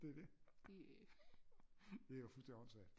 Det er det det er jo fuldstændig åndssvagt